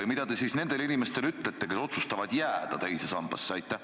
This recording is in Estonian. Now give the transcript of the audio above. Ja mida te siis ütlete nendele inimestele, kes otsustavad jääda teise sambasse?